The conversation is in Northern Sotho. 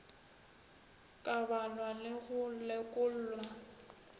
ka balwa le go lekolwa